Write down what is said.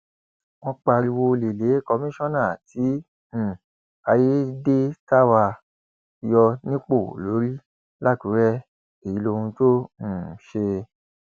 wọn pariwo olè lé kọmíṣánná tí um ayédètàwá yọ nípò lórí làkùrẹ èyí lohun tó um ṣe